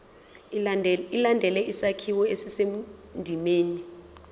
ilandele isakhiwo esisendimeni